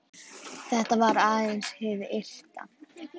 Þetta var aðeins hið ytra.